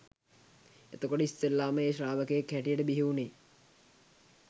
එතකොට ඉස්සෙල්ලාම ඒ ශ්‍රාවකයෙක් හැටියට බිහිවුනේ